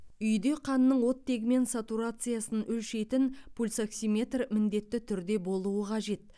үйде қанның оттегімен сатурациясын өлшейтін пульсоксиметр міндетті түрде болуы қажет